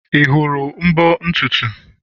Ị hụrụ mbo ntutu?